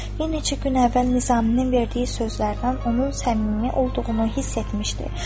Yenə neçə gün əvvəl Nizaminin verdiyi sözlərdən onun səmimi olduğunu hiss etmişdi.